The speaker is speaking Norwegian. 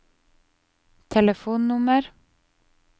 telefonnummer